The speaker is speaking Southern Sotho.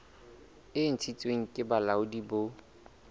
e ntshitsweng ke bolaodi bo